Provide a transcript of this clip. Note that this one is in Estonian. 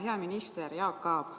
Hea minister Jaak Aab!